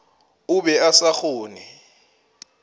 o be a sa kgone